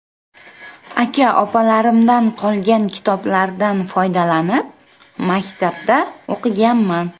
Aka-opalarimdan qolgan kitoblardan foydalanib, maktabda o‘qiganman.